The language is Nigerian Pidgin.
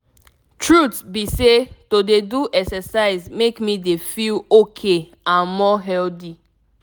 truth be say to dey do exercise make me dey feel ok and more healthy.